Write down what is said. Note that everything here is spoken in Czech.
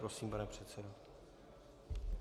Prosím, pane předsedo.